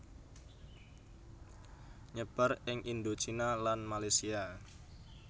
Nyebar ing Indochina lan Malesia